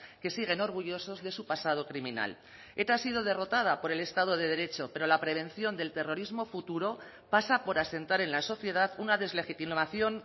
que siguen orgullosos de su pasado criminal eta ha sido derrotada por el estado de derecho pero la prevención del terrorismo futuro pasa por asentar en la sociedad una deslegitimación